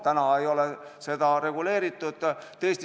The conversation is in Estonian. Täna ei ole seda reguleeritud.